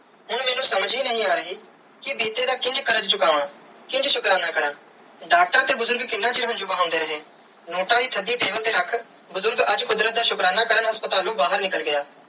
ਇਹ ਅਨੂ ਸਮਝ ਹੀ ਨਾਈ ਆਹ ਰਾਏ ਕੇ ਬੀਤੇ ਦਾ ਕਿੰਜ ਕਾਰਜ ਚੁਕਾ ਕਿੰਜ ਸ਼ੁਕਰਾਨਾ ਕਾਰਾ ਡਾਕਟਰ ਤੇ ਬੁਜ਼ਰਗ ਕਿੰਨਾ ਚਿਰ ਹੰਜੂ ਬਹੰਦੇ ਰੇ ਨੋਟ ਦੀ ਤੁਹਾਡੀ ਦਿਲ ਤੇ ਹੱਥ ਬੁਜ਼ਰਗ ਅੱਜ ਕੁਦਰਤ ਦਾ ਸ਼ੁਕਰਾਨਾ ਕਾਰਨ ਹਾਸਪ੍ਤਾਲੂ ਬਾਹਿਰ ਨਿਕਲ ਗਿਆ.